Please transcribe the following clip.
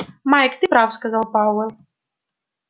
майк ты прав сказал пауэлл